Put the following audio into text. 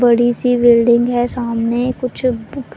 बड़ी सी बिल्डिंग है सामने कुछ--